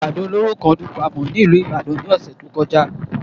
Àdó olóró kan dún gbàmù nílùú Ìbàdàn ní ọ̀sẹ̀ tó kọjá